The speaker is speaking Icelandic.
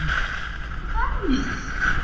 En hvað er að?